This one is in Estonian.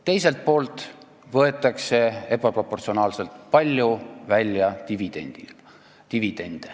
Teiselt poolt võetakse ebaproportsionaalselt palju välja dividendi.